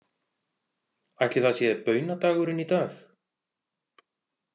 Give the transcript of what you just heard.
Ætli það sé baunadagurinn í dag?